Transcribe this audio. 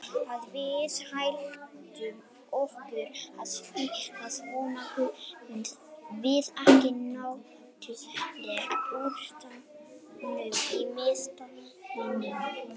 Ef að við ætlum okkur að spila svona komumst við ekki nálægt úrslitaleiknum í Meistaradeildinni.